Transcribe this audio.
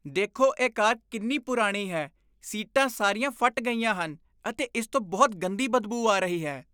ਦੇਖੋ ਇਹ ਕਾਰ ਕਿੰਨੀ ਪੁਰਾਣੀ ਹੈ। ਸੀਟਾਂ ਸਾਰੀਆਂ ਫਟ ਗਈਆਂ ਹਨ ਅਤੇ ਇਸ ਤੋਂ ਬਹੁਤ ਗੰਦੀ ਬਦਬੂ ਆ ਰਹੀ ਹੈ।